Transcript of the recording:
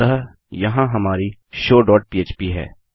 अतः यहाँ हमारी शो डॉट पह्प है